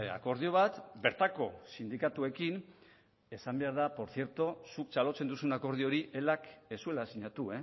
akordio bat bertako sindikatuekin esan behar por cierto zuk txalotzen duzun akordio hori elak ez zuela sinatu